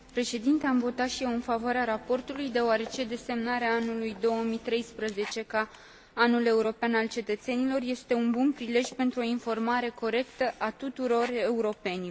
Am votat și eu în favoarea raportului deoarece desemnarea anului 2013 ca Anul european al cetățenilor este un bun prilej pentru o informare corectă a tuturor europenilor.